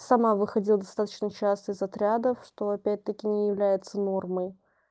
сама выходил достаточно часто из отрядов что опять-таки не является нормой